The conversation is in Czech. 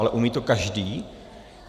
Ale umí to každý?